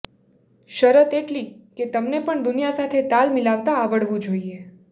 શરત એટલી કે તમને પણ દુનિયા સાથે તાલ મિલાવતાં આવડવું જોઈએ